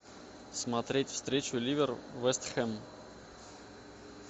смотреть встречу ливер вест хэм